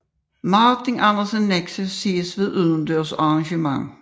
Martin Andersen Nexø ses ved udendørs arrangement